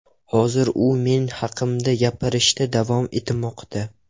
Hozir u men haqimda gapirishda davom etmoqda.